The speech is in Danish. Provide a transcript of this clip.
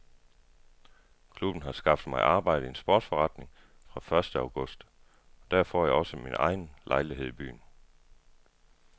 Klubben har skaffet mig arbejde i en sportsforretning fra første august og der får jeg også min egen lejlighed i byen.